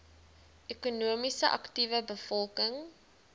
ekonomies aktiewe bevolking